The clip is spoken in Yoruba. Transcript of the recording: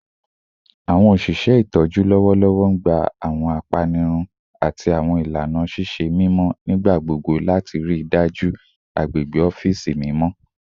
Awọn oṣiṣẹ itọju lọwọlọwọ n gba awọn apanirun, awọn apanirun, ati awọn ilana ṣiṣe mimọ nigbagbogbo lati rii daju agbegbe ọfiisi mimọ